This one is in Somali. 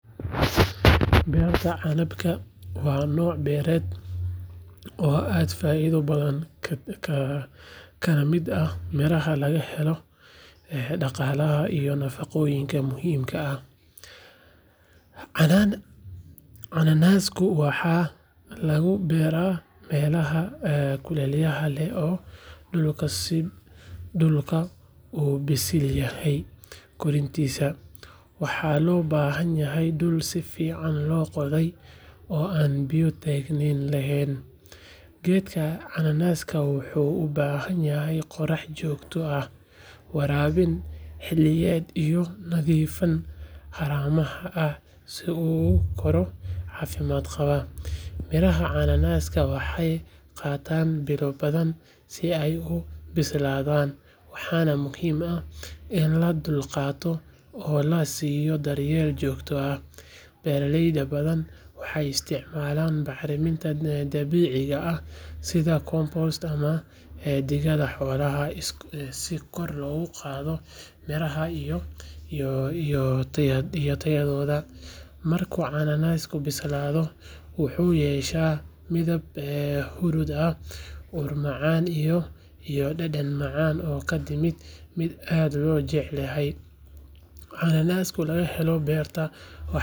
Beerta canabka waa noc beered oo aad faidho badan kala miid ah miraha laga helo nafaqoyinka ah, cananasku waxaa lagu beera melaha kulelaha, geedka cananaska wuxuu u bahan yahay qorax jogto ah, waxena qatan biyo badan si ee u bisladan, si kor logu qadho mirahooda iyo tayaadoda, cananasku laga helo beerta.